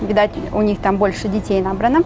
видать у них там больше детей набрано